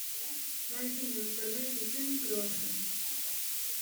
найди мне в интернете фильм крестный